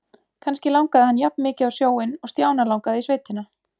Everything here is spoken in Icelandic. Kannski langaði hann jafnmikið á sjóinn og Stjána langaði í sveitina.